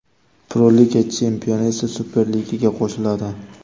Pro-Liga chempioni esa Super Ligaga qo‘shiladi.